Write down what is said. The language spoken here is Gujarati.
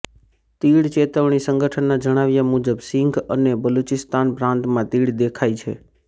તીડ ચેતવણી સંગઠનના જણાવ્યા મુજબ સિંઘ અને બલુચિસ્તાન પ્રાંતમાં તીડ દેખાઈ છે